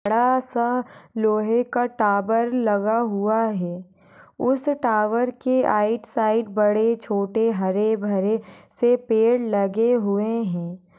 बड़ा सा लोहे का टावर लगा हुआ है उस टावर की राइट साइड बड़े छोटे हरेभरे से पेड़ लगे हुए हैं।